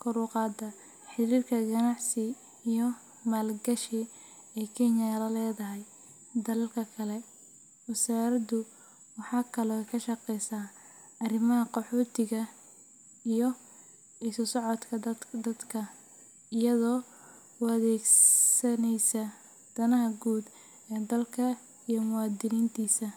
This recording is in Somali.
kor u qaadaa xiriirka ganacsi iyo maalgashi ee Kenya la leedahay dalalka kale. Wasaaraddu waxay kaloo ka shaqeysaa arrimaha qaxootiga iyo isu socodka dadka, iyadoo u adeegaysa danaha guud ee dalka iyo muwaadiniintiisa.